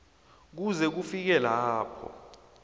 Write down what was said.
kuze kufike lapho